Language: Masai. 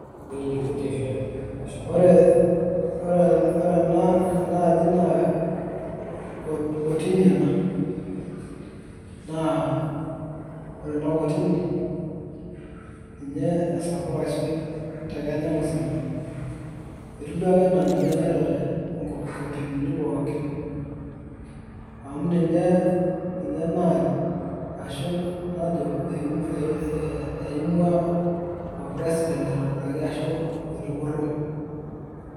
Ore ore enaaji naa kotini ena. Naa ore ena kotini ,ninye esapuk aisul te Kenya musima. Etiu duake enaa ninye naitore inkotinini pookin. Amu ninye naany ashu najo eimua orpresident aitobiraki ashu etupurro.